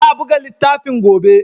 Za a buga littafin gobe.